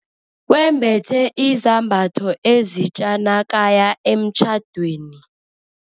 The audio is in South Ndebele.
Wembethe izambatho ezitja nakaya emtjhadweni.